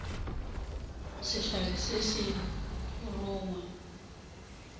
re sehlare se a rongwa